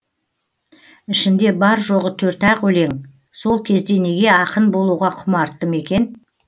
ішінде бар жоғы төрт ақ өлең сол кезде неге ақын болуға құмарттым екен